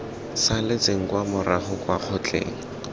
saletseng kwa morago kwa kgotleng